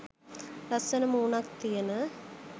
ලස්සන මූනක් තියෙන